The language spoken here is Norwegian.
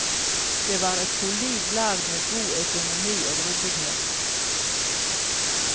Det var et solid lag med god økonomi og ryddighet.